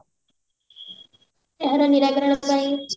ଏହାର ନିରାକରଣ ପାଇଁ